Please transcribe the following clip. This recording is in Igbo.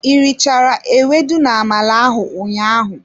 I richara ewedu na-amala ahụ ụnyaahụ?